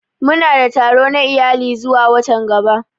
Muna da taro na iyali zuwa watan gaba.